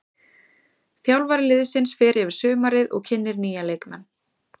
Þjálfari liðsins fer yfir sumarið og kynnir nýja leikmenn.